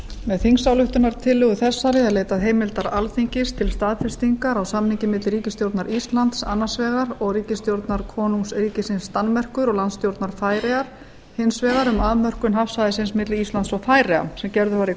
með þingsályktunartillögu þessari er leitað heimildar alþingis til staðfestingar á samningi milli ríkisstjórnar íslands annars vegar og ríkisstjórnar konungsríkisins danmerkur og landstjórnar færeyja hins vegar um afmörkun hafsvæðisins milli íslands og færeyja sem gerður var í